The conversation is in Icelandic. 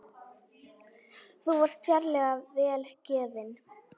Þú varst sérlega vel gefin.